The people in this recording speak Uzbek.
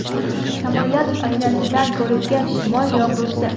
Samolyot oynasidan ko‘ringan shimol yog‘dusi .